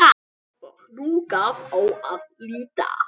Og nú gaf á að líta.